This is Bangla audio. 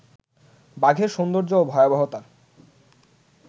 বাঘের সৌন্দর্য ও ভয়াবহতার